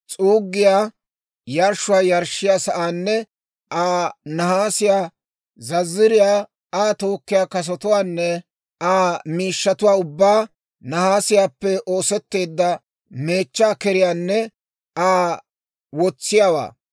s'uuggiyaa yarshshuwaa yarshshiyaa sa'aanne Aa nahaasiyaa zazziriyaa, Aa tookkiyaa kasotuwaanne Aa miishshatuwaa ubbaa, nahaasiyaappe oosetteedda meechchaa keriyaanne Aa wotsiyaawaa;